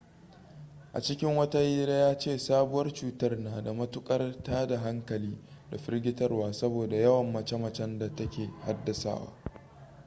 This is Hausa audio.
a cikin wata hira ya ce sabuwar cutar na da matukar tada hankali da firgitarwa saboda yawan mace-macen da ta ke haddasawa